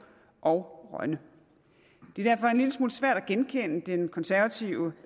og rønne det er derfor en lille smule svært at genkende den konservative